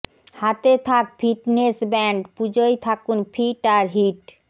হাতে থাক fitness band পুজোয় থাকুন ফিট আর হিট